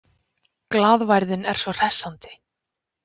Glaðværðin er svo hressandi.